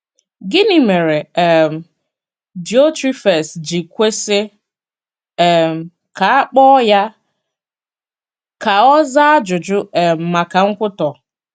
Gịnị mere um Diotrephes ji kwesị um ka a kpọọ ya ka ọ zaa ajụjụ um maka nkwutọ?